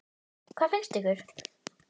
Hvað finnst ykkur?